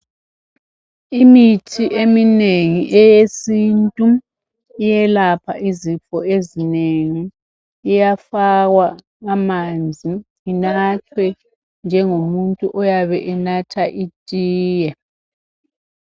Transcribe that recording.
Imithi eminengi eyesintu iyalapha izifo ezinengi, iyafakwa amanzi inathwe njengomuntu oyabe enatha itiye.